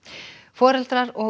foreldrar og